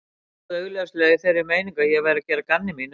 Stóð augljóslega í þeirri meiningu að ég væri að gera að gamni mínu.